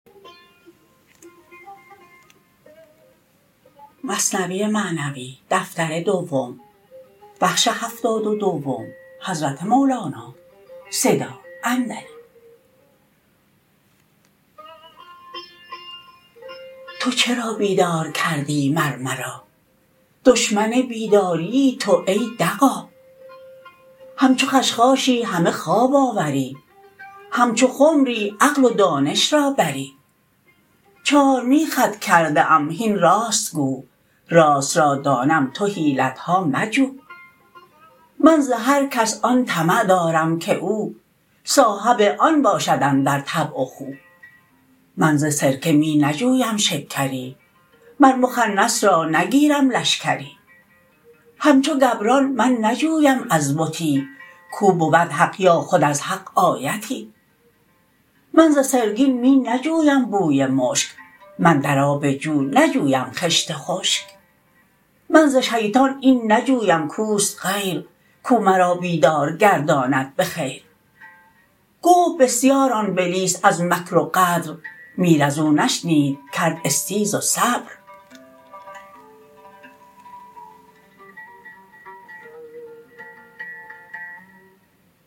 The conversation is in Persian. تو چرا بیدار کردی مر مرا دشمن بیداریی تو ای دغا همچو خشخاشی همه خواب آوری همچو خمری عقل و دانش را بری چارمیخت کرده ام هین راست گو راست را دانم تو حیلتها مجو من ز هر کس آن طمع دارم که او صاحب آن باشد اندر طبع و خو من ز سرکه می نجویم شکری مر مخنث را نگیرم لشکری همچو گبران من نجویم از بتی کو بود حق یا خود از حق آیتی من ز سرگین می نجویم بوی مشک من در آب جو نجویم خشت خشک من ز شیطان این نجویم کوست غیر کو مرا بیدار گرداند بخیر گفت بسیار آن بلیس از مکر و غدر میر ازو نشنید کرد استیز و صبر